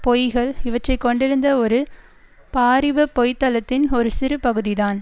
பொய்கள் இவற்றை கொண்டிருந்த ஒரு பாரிப பொய்தளத்தின் ஒரு சிறு பகுதிதான்